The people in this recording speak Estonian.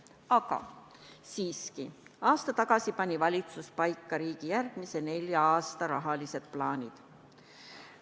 Aga siiski, aasta tagasi pani valitsus paika riigi järgmise nelja aasta rahalised plaanid.